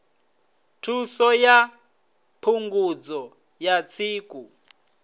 thuso ya phungudzo ya tsiku